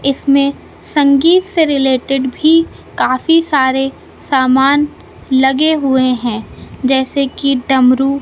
इसमें संगीत से रिलेटेड भी काफी सारे सामान लगे हुए हैं जैसे कि डमरू--